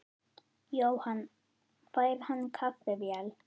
Jóhann: Fær hann kaffivél?